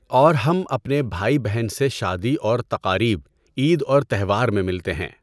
اور ہم اپنے بھائی بہن سے شادی اور تقاریب، عید اور تہوار میں مِلتے ہیں۔